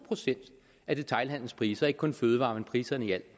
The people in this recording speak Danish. procent af detailhandelens priser ikke kun fødevarepriser men